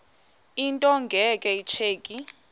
into nge tsheki